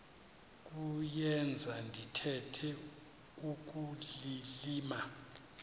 kuyenza ndithetha ukulilima